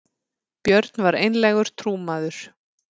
björn var einlægur trúmaður